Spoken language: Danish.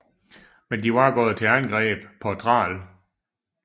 Men de var gået til angreb på Thrall